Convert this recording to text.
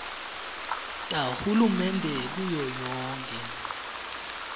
tahulumende kuyo yonkhe